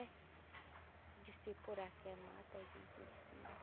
Eu disse, poraqué mata a gente, ele disse, mata.